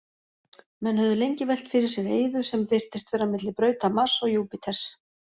Menn höfðu lengi velt fyrir sér eyðu sem virtist vera milli brauta Mars og Júpíters.